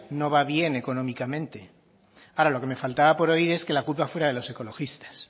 no va bien económicamente ahora lo que me faltaba por oír es que la culpa fuera de los ecologistas